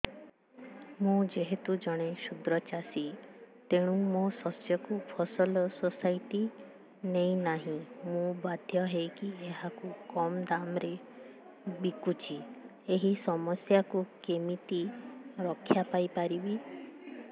ମୁଁ ଯେହେତୁ ଜଣେ କ୍ଷୁଦ୍ର ଚାଷୀ ତେଣୁ ମୋ ଶସ୍ୟକୁ ଫସଲ ସୋସାଇଟି ନେଉ ନାହିଁ ମୁ ବାଧ୍ୟ ହୋଇ ଏହାକୁ କମ୍ ଦାମ୍ ରେ ବିକୁଛି ଏହି ସମସ୍ୟାରୁ କେମିତି ରକ୍ଷାପାଇ ପାରିବି